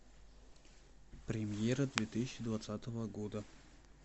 премьера две тысячи двадцатого года